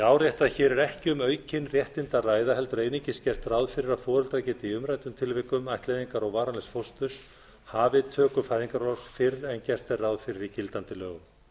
árétta að hér er ekki um aukin réttindi að ræða heldur einungis gert ráð fyrir að foreldrar geti í umræddum tilvikum ættleiðingar og varanlegs fósturs hafið töku fæðingarorlofs fyrr en gert er ráð fyrir í gildandi lögum